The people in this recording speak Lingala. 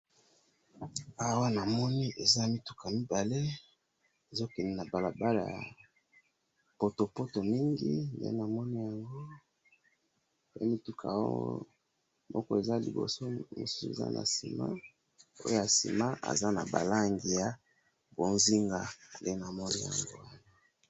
awa namoni eza mituka mibale ezokokende nabalabala potopoto mingi ndenamoni yango pe mutuko oyo moko eza liboso mususu eza nasima oyo yasima azanabalangi ya bonzinga ndenamoni yango